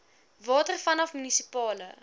water vanaf munisipale